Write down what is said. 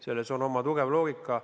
Selles on oma tugev loogika.